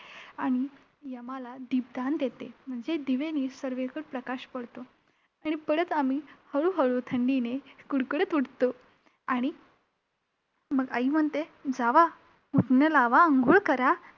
आणि यमाला दीप दान देते म्हणजे दिव्यांनी सगळीकडे प्रकाश पडतो आणि परत आम्ही हळूहळू थंडीने कुडकुडत उठतो. आणि मग आई म्हणते, जावा उटणं लावा, आंघोळ करा.